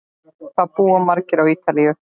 Hvað búa margir á Ítalíu?